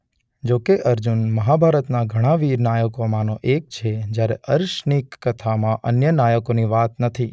જોકે અર્જુન મહાભારતના ઘણાં વીર નાયકો માંનો એક છે જ્યારે અર્શ ની કથામાં અન્ય નાયકોની વાત નથી.